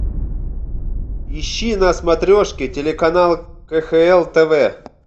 ищи на смотрешке телеканал кхл тв